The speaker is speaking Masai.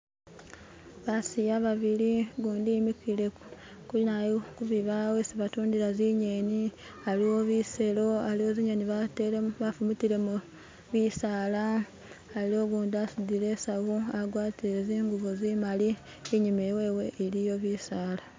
Basiya babili gundi emikile kubibawo isi batundila zingeni, aliwo biselo, aliwo zingeni bafumitilemo bisala ,aliwo ugundi asudile isawu agwatile zingubo zimali inyuma wewe iliyo bisala.